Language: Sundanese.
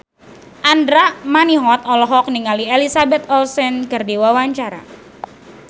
Andra Manihot olohok ningali Elizabeth Olsen keur diwawancara